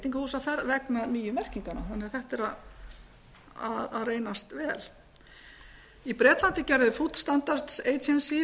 veitingahúsaferð vegna nýju merkinganna þannig að þetta er að reynast vel í bretlandi gerði food standards agency